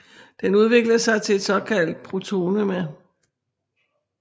Den udvikler sig til et såkaldt protonema